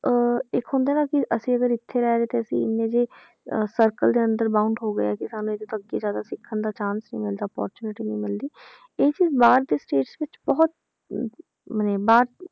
ਅਹ ਇੱਕ ਹੁੰਦਾ ਨਾ ਕਿ ਅਸੀਂ ਅਗਰ ਇੱਥੇ ਰਹਿ ਰਹੇ ਤੇ ਅਸੀਂ ਇੰਨੇ ਜੇ ਅਹ circle ਦੇ ਅੰਦਰ bound ਹੋ ਗਏ ਕਿ ਸਾਨੂੰ ਇਹਦੇ ਤੋਂ ਅੱਗੇ ਜ਼ਿਆਦਾ ਸਿੱਖਣ ਦਾ chance ਹੀ ਮਿਲਦਾ opportunity ਨੀ ਮਿਲਦੀ ਇਹ ਚੀਜ਼ ਬਾਹਰ ਦੇ states ਵਿੱਚ ਬਹੁਤ ਅਹ ਮਨੇ ਬਾਹਰ